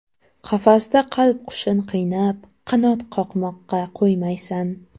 Qafasda qalb qushin qiynab, Qanot qoqmoqqa qo‘ymaysan.